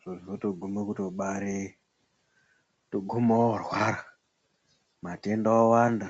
zvozotoguma kutobare kutoguma orwara matenda owanda.